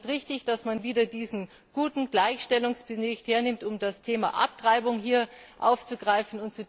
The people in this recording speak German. Ich finde es auch nicht richtig, dass man wieder diesen guten Gleichstellungsbericht hernimmt, um das Thema Abtreibung aufzugreifen.